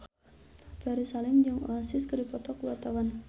Ferry Salim jeung Oasis keur dipoto ku wartawan